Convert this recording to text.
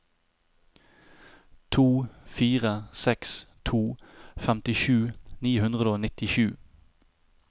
to fire seks to femtisju ni hundre og nittisju